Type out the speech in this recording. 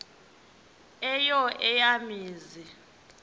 eyo eya mizi